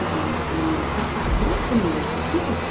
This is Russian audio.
идываю она мне говорит короче собирает по новой всех в кучу